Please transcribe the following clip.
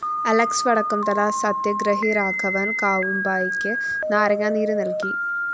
Alex വടക്കുംതല സത്യഗ്രഹി രാഘവന്‍ കാവുമ്പായിക്ക് നാരങ്ങാനീര് നല്‍കി